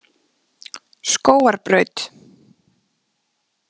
Skógarbraut